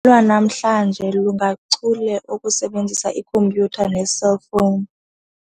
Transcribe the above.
Lwanamhlanje lungachule okusebenzisa ikhompyutha neeselfowuni.